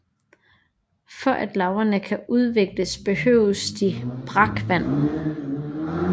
For at larverne kan udvikles behøver de brakvand